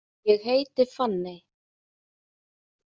Ég heiti Fanney.